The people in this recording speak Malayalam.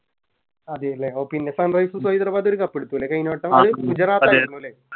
അതെല്ലേ ഓ പിന്നെ Sunrisers hyderabad ഒരു Cup എടുത്തുല്ലേ കയിഞ്ഞ വട്ടം അത് ഗുജറാത്ത് ആയിരുന്നു ലെ